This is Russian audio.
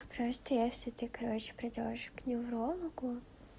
просто если ты короче придёшь к неврологу